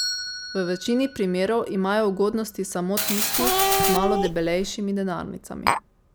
V večini primerov imajo ugodnosti samo tisti z malo debelejšimi denarnicami.